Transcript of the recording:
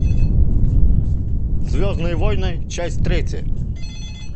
звездные войны часть третья